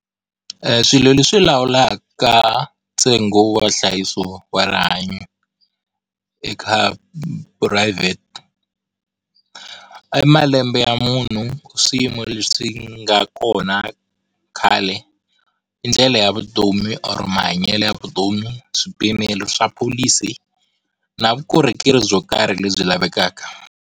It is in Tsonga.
Eeh, swilo leswi lawulaka ntsengo wa nhlayiso wa rihanyo eka private, i malembe ya munhu, swiyimo leswi nga kona khale i ndlela ya vutomi or mahanyelo ya vutomi swipimelo swa pholisi na vukorhokeri byo karhi lebyi lavekaka.